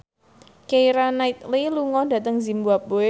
Keira Knightley lunga dhateng zimbabwe